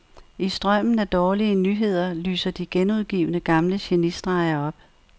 I strømmen af dårlige nyheder lyser de genudgivne gamle genistreger op.